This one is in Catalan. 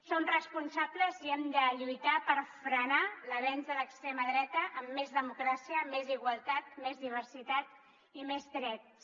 som responsables i hem de lluitar per frenar l’avenç de l’extrema dreta amb més democràcia més igualtat més diversitat i més drets